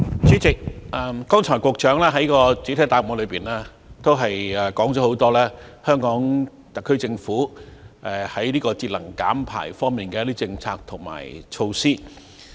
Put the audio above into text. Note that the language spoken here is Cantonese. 主席，局長剛才在主體答覆中，提及很多香港特區政府在節能減排方面的一些政策及措施。